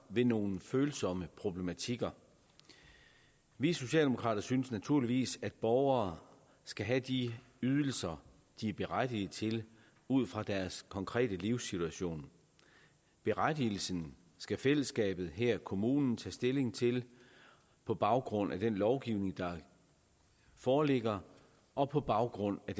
ved nogle følsomme problematikker vi socialdemokrater synes naturligvis at borgere skal have de ydelser de er berettiget til ud fra deres konkrete livssituation berettigelsen skal fællesskabet her kommunen tage stilling til på baggrund af den lovgivning der foreligger og på baggrund af